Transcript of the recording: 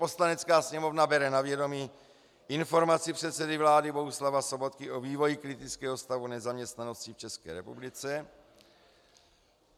Poslanecká sněmovna bere na vědomí Informaci předsedy vlády Bohuslava Sobotky o vývoji kritického stavu nezaměstnanosti v České republice.